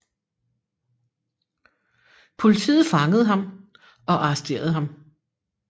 Politiet fangede ham og arresterede ham